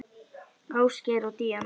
Ásgeir og Díana.